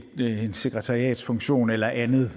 sekretariatsfunktion eller andet